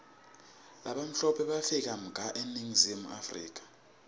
labamhlope bafika mga eningizimu africa